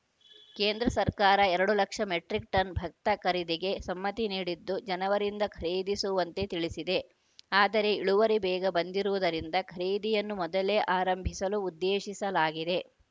ಕೇಂದ್ರ ಸರ್ಕಾರ ಎರಡು ಲಕ್ಷ ಮೆಟ್ರಿಕ್‌ ಟನ್‌ ಭತ್ತ ಖರೀದಿಗೆ ಸಮ್ಮತಿ ನೀಡಿದ್ದು ಜನವರಿಯಿಂದ ಖರೀದಿಸುವಂತೆ ತಿಳಿಸಿದೆ ಆದರೆ ಇಳುವರಿ ಬೇಗ ಬಂದಿರುವುದರಿಂದ ಖರೀದಿಯನ್ನು ಮೊದಲೇ ಆರಂಭಿಸಲು ಉದ್ದೇಶಿಸಲಾಗಿದೆ